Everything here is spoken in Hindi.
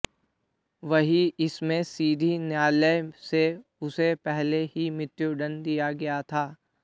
वहीं इसमें सीधी न्यायालय से उसे पहले ही मृत्यु दंड दिया गया था